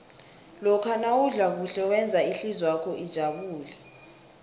lokha nawudla kuhle wenza ihlizwakho ijabule